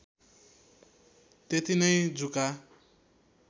त्यती नै जुका